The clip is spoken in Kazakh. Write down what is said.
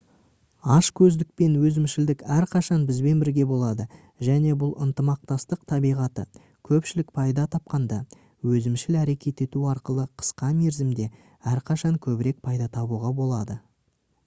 ашкөздік пен өзімшілдік әрқашан бізбен бірге болады және бұл ынтымақтастық табиғаты көпшілік пайда тапқанда өзімшіл әрекет ету арқылы қысқа мерзімде әрқашан көбірек пайда табуға болады